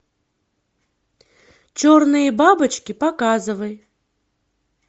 черные бабочки показывай